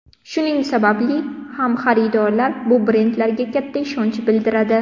Shuning sababli ham xaridorlar bu brendlarga katta ishonch bildiradi.